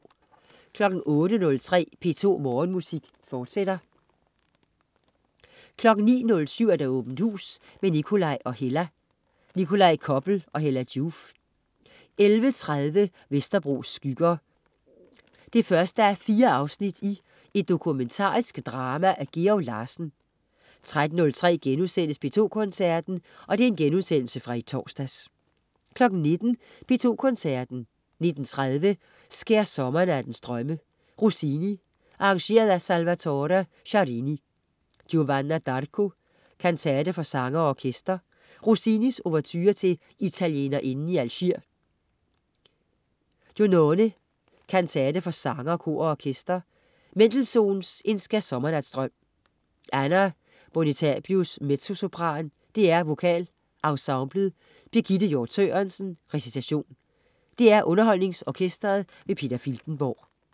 08.03 P2 Morgenmusik, fortsat 09.07 Åbent hus med Nikolaj og Hella. Nikolaj Koppel og Hella Joof 11.30 Vesterbros skygger. 1:4 Et dokumentarisk drama af Georg Larsen 13.03 P2 Koncerten.* Genudsendelse fra i torsdags 19.00 P2 Koncerten. 19.30 Skærsommernattens drømme. Rossini, arr. Salvatore Sciarrini: Giovanna d'Arco, kantate for sanger og orkester. Rossini: Ouverture til Italienerinden i Algier. Giunone, kantate for sanger, kor og orkester. Mendelssohn: En Skærsommernatsdrøm. Anna Bonitatibus, mezzosopran. DR VokalEnsemblet. Birgitte Hjort Sørensen, recitation. DR UnderholdningsOrkestret. Peter Filtenborg